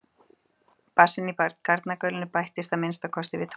Bassinn í garnagaulinu bættist að minnsta kosti við tónverkið.